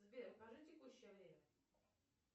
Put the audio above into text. сбер покажи текущее время